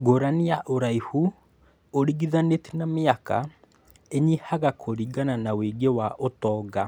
Ngũrani ya Ũraihu ũringithanĩtie na mĩaka ĩnyihaga kũringana na wũingĩ wa ũtonga